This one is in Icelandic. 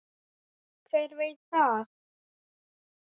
Hver veit það?